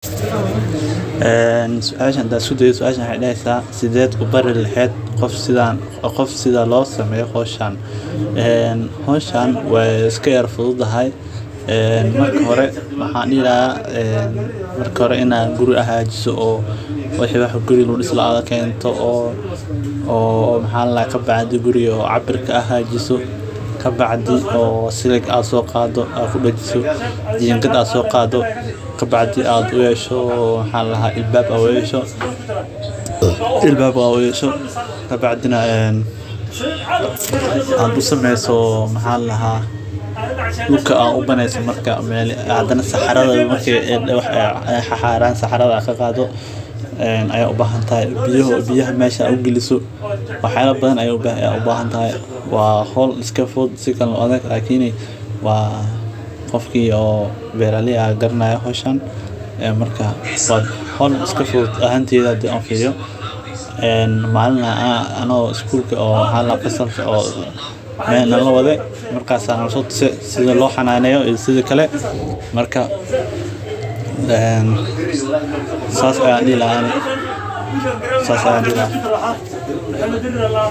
Howshan way fududahay. Marka hore waa in guri la hagaajiyo. Guriga la hagaajinayo waa in la keeno, la cabbiraa, silig la soo qaadaa, la dejiyo, jingaad la soo qaadaa, albaabbo loo yeesho, loo sameeyo meel saxarada laga qaado, biyana meesha lagu geliyo. Waa hawl fudud oo si wanaagsan loo qaban karo. Qofkii beeraley ah garanaya, howshan waa hawl fudud. Anagoo fasalka joognay ayaa nala waday, nala tusay sida loo sameeyo.